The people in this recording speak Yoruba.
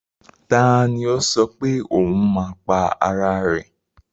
Ta ni ó sọ pé ohun máa pa ara rẹ̀?